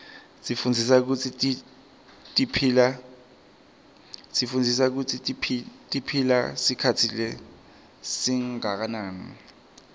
sifundza kutsi tiphila sikhatsi lesinganani